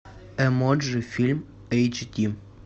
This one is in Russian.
эмоджи фильм эйч ди